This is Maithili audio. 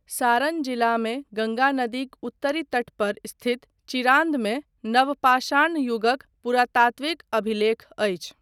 सारण जिलामे, गङ्गा नदीक उत्तरी तटपर स्थित चिरान्दमे, नवपाषाण युगक पुरातात्विकअभिलेख अछि।